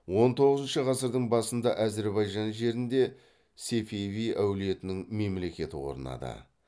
он тоғызыншы ғасырдың басында әзірбайжан жерінде сефеви әулетінің мемлекеті орнады